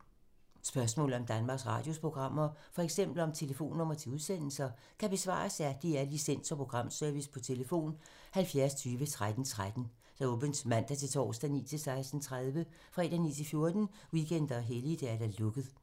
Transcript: Spørgsmål om Danmarks Radios programmer, f.eks. om telefonnumre til udsendelser, kan besvares af DR Licens- og Programservice: tlf. 70 20 13 13, åbent mandag-torsdag 9.00-16.30, fredag 9.00-14.00, weekender og helligdage: lukket.